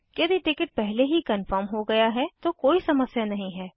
यदि टिकट पहले ही कन्फर्म हो गया है तो कोई समस्या नहीं है